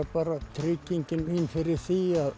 tryggingin mín fyrir því að